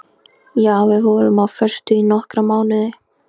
Já, við vorum á föstu í nokkra mánuði.